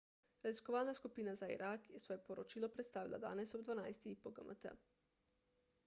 raziskovalna skupina za irak je svoje poročilo predstavila danes ob 12.00 po gmt